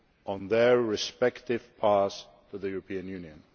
on their respective paths to the European Union.